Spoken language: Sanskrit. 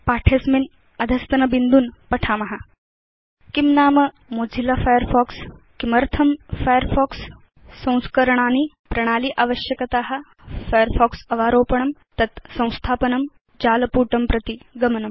पाठे अस्मिन् अधस्तन बिन्दून् पठाम किं नाम मोजिल्ला फायरफॉक्स 160 किमर्थं फायरफॉक्स 160 संस्करणानि प्रणाली आवश्यकता फायरफॉक्स अवारोपणं तत् संस्थापनं जालपुटं प्रति गमनम्